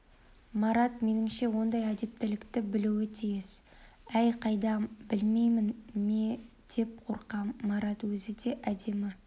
марат меніңше оңдай әдептілікті білуі тиіс әй қайдам білмей ме деп қорқам марат өзі де әдемі